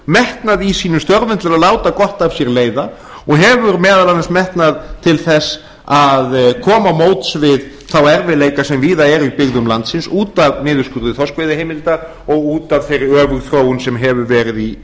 metnað í sínum störfum til að láta gott af sér leiða og hefur meðal annars metnað til að koma til móts við þá erfiðleika sem víða eru í byggðum landsins út af niðurskurði þorskveiðiheimilda og út af þeirri öfugþróun sem hefur verið í